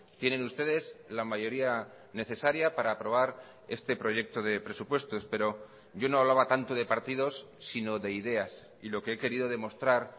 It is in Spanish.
tienen ustedes la mayoría necesaria para aprobar este proyecto de presupuestos pero yo no hablaba tanto de partidos sino de ideas y lo que he querido demostrar